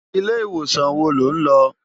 Ilé iwósan wó ló n lò?